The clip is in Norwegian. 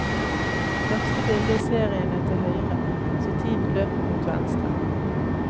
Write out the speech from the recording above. Første bildet i serien er til høyre, så tiden løper mot venstre.